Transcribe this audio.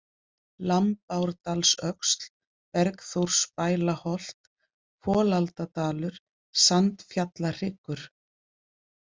Lambárdalsöxl, Bergþórsbælaholt, Folaldadalur, Sandfjallahryggur